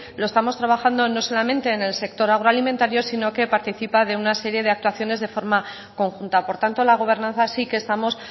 lo estamos trabajando no solamente en el sector agroalimentario sino que participa de una serie de actuaciones de forma conjunta por tanto la gobernanza sí que estamos